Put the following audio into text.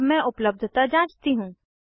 अब मैं उपलब्धता जाँचती हूँ